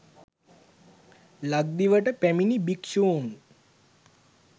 ලක්දිවට පැමිණි භික්‍ෂූන්